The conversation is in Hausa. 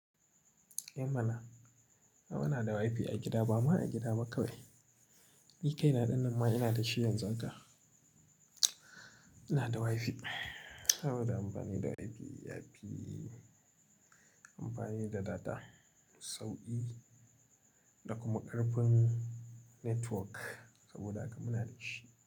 Eh mana, a mana da Wi-Fi a gida, ba ma a gida ba kawai. Ni kaina ɗan nan ma ina da shi yanzu haka. Ina da Wi-Fi saboda amfani da Wi-Fi, yafi amfani da data sauƙi da kuma ƙarfin network saboda haka muna da shi.